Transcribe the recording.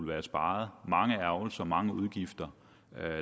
været sparet mange ærgrelser mange udgifter